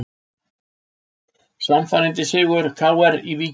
Sannfærandi sigur KR í Víkinni